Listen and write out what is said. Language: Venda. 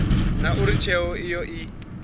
na uri tsheo iyo i